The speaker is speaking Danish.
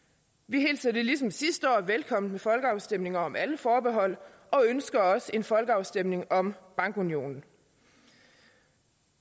vi hilser det ligesom sidste år velkommen med folkeafstemninger om alle forbehold og ønsker også en folkeafstemning om bankunionen